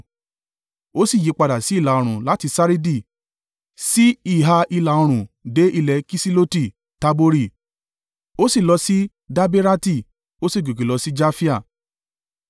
Ó sì yípadà sí ìlà-oòrùn láti Saridi sí ìhà ìlà-oòrùn dé ilẹ̀ Kisiloti-Tabori, ó sì lọ sí Daberati, ó sì gòkè lọ sí Jafia.